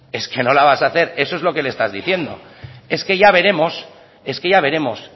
es que no la vas a hacer eso es lo que le estás diciendo es que ya veremos es que ya veremos